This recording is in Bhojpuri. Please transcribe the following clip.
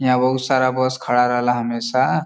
यहाँ बहुत सारा बस खड़ा रहेला हमेशा।